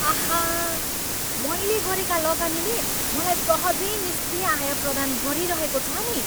आहा, मैले गरेका लगानीले मलाई सहजै निस्क्रिय आय प्रदान गरिरहेको छ नि।